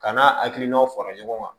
Ka n'a hakilinaw fara ɲɔgɔn kan